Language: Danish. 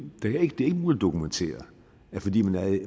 er ikke dokumenteret at fordi